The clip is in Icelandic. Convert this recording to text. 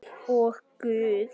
Og Guð.